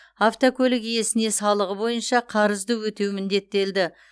автокөлік иесіне салығы бойынша қарызды өтеу міндеттелді